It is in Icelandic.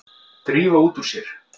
Drífa út úr sér.